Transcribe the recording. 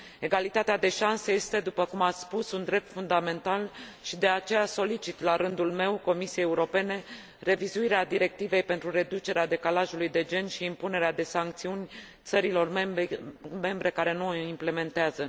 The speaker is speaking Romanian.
Egalitatea de șanse este, după cum ați spus, un drept fundamental și, de aceea, solicit, la rândul meu, Comisiei Europene revizuirea directivei pentru reducerea decalajului de gen și impunerea de sancțiuni țărilor membre care nu o implementează.